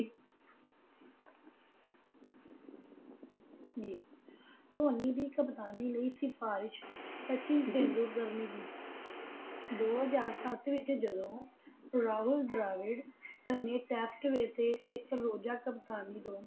ਜੀ ਧੋਨੀ ਦੀ ਕਪਤਾਨੀ ਲਈ ਸਿਫਾਰਿਸ਼ ਸਚਿਨ ਤੇਂਦੁਲਕਰ ਨੇ ਕੀਤੀ ਦੋ ਹਾਰਜ਼ ਸੰਤ ਵਿਚ ਜਦੋਂ ਰਾਹੂਲ ਡੇਵਿਡ ਨੇ ਜਦੋ ਸਿਫਤ ਵਿੱਚੋ ਇਕ ਰੋਜਾ ਕਪਤਾਨੀ